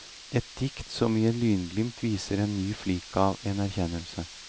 Et dikt som i et lynglimt viser en ny flik av en erkjennelse.